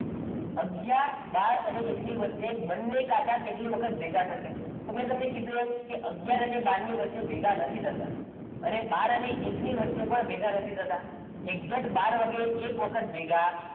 આગયાર બાર અને એકની વચ્ચે બંને કાંટા કેટલી વખત ભેગા થશે તો મેં તમને કીધુ એમ કે આગયાર અને બાર ની વચ્ચે ભેગા નથી થતા અને બહાર અને એકની વચ્ચે પણ ભેગા નથી થતા exact બાર વાગે એક વખત ભેગા